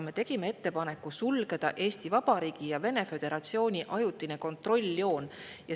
Me tegime ettepaneku sulgeda Eesti Vabariigi ja Vene föderatsiooni ajutine kontrolljoon.